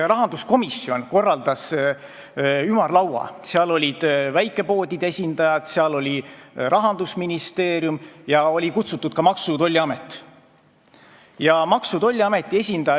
Rahanduskomisjon korraldas ümarlaua, seal olid väikepoodide esindajad, seal oli esindatud Rahandusministeerium ja oli kutsutud ka Maksu- ja Tolliamet.